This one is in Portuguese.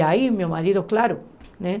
E aí meu marido, claro, né?